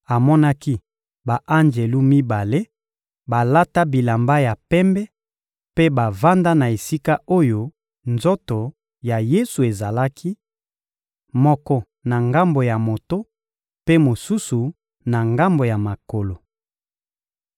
amonaki ba-anjelu mibale balata bilamba ya pembe mpe bavanda na esika oyo nzoto ya Yesu ezalaki: moko na ngambo ya moto, mpe mosusu, na ngambo ya makolo.